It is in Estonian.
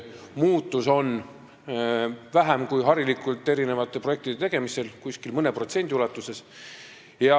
Muutus on vähem kui harilikult projektide tegemisel, mõne protsendi ulatuses.